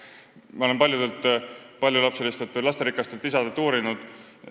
Ma olen seda paljudelt paljulapselistelt, lasterikastelt isadelt uurinud.